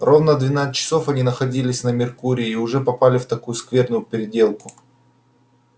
ровно двенадцать часов они находились на меркурии и уже попали в такую скверную переделку